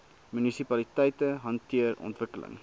munisipaliteite hanteer ontwikkeling